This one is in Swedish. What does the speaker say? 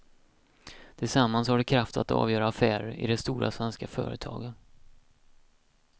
Tillsammans har de kraft att avgöra affärer i de stora svenska företagen.